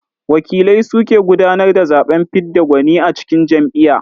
Wakilai su ke gudanar da zaɓen fidda gwani a cikin jam'iyya.